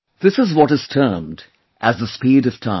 This is what is termed as the speed of time